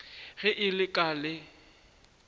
ge e le ka le